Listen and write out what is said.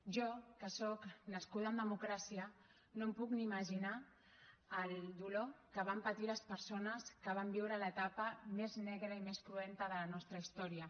jo que sóc nascuda en democràcia no em puc ni imaginar el dolor que van patir les persones que van viure l’etapa més negra i més cruenta de la nostra història